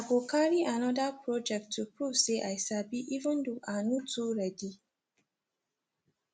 i go carry another project to prove say i sabi even though i no too ready